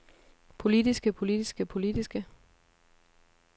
politiske politiske politiske